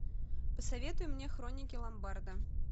посоветуй мне хроники ломбарда